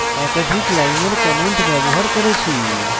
একাধিক লাইনের comments ব্যবহার করেছি